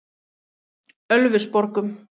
Ölfusborgum